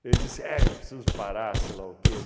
Ele disse, é, eu preciso parar, sei lá o quê.